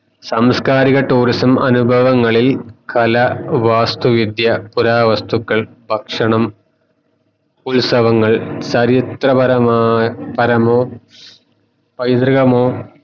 സാംസ്‌കാരിക tourism അനുഭവങ്ങളിൽ കലാവാസ്തു വിദ്യ പുരാ വസ്തുക്കൾ ഭക്ഷണം ഉത്സവങ്ങൾ ചരിത്രപരമാ പരമോ പൈതൃകമോ